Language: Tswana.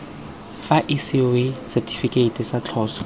ga isiwa setifikeiti sa tloso